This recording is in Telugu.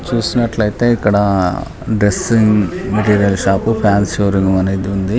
చూసినట్లయితే ఇక్కడ ఇది దరసిగ్ మెటీరీయల్ షాప్ షోరూమ్ అనేది ఉంది.